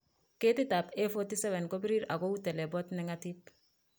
Ketitab A47 ko birir ago ak kou telebot neng'atip.